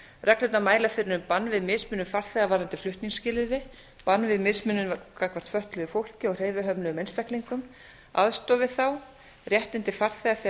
reglurnar mæla fyrir um bann við mismunun farþega varðandi flutningsskilyrði bann við mismunun gagnvart fötluðu fólki og hreyfihömluðum einstaklingum aðstoð við þá réttindi farþega þegar